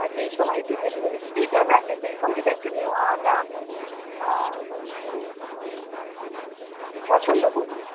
বা যেই সময় একটু delivery free টা থাকে, সেই সময়টা একটু নেওয়াটা আমি আ মানে একটু পছন্দ করি.